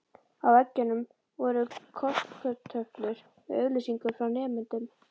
Á veggjunum voru korktöflur með auglýsingum frá nemendum.